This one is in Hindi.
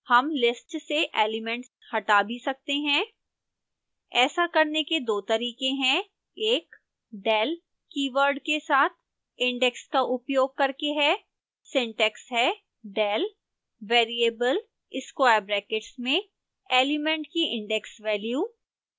हम lists से एलिमेंट हटा भी सकते हैं ऐसा करने के दो तरीके हैं एक del keyword के साथ index का उपयोग करके है